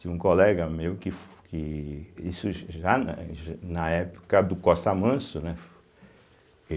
Tinha um colega meu que fu que isso já na já na época do Costa Manso, né?